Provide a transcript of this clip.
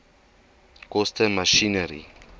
koste masjinerie